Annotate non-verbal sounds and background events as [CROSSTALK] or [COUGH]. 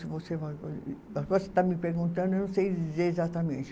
Se você, [UNINTELLIGIBLE] agora você está me perguntando, eu não sei dizer exatamente.